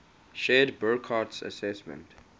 shared burckhardt's assessment